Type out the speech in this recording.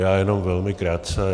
Já jenom velmi krátce.